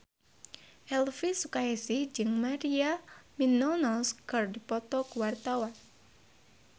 Elvi Sukaesih jeung Maria Menounos keur dipoto ku wartawan